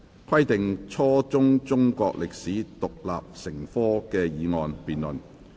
"規定初中中國歷史獨立成科"的議案辯論。